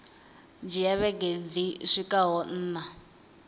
dzhia vhege dzi swikaho nṋa